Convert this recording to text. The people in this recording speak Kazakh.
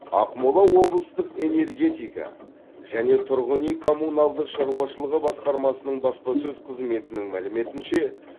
ақмола облыстық энергетика және тұрғын үй коммуналдық шаруашылығы басқармасының баспасөз қызметінің мәліметінше